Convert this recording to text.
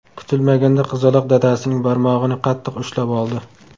Kutilmaganda qizaloq dadasining barmog‘ini qattiq ushlab oldi.